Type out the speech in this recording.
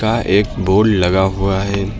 का एक बोर्ड लगा हुआ है।